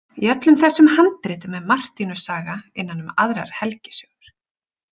Í öllum þessum handritum er Martinus saga innan um aðrar helgisögur.